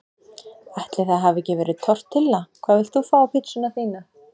Ætli það hafi ekki verið tortilla Hvað vilt þú fá á pizzuna þína?